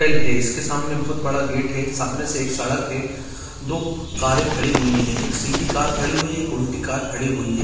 हिल है इसके सामने बहुत बड़ा गेट है सामने से एक सड़क है दो कारे खड़ी हुई है एक सीधी कार खड़ी हुई है एक उलटी कार खड़ी हुई है।